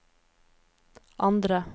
andre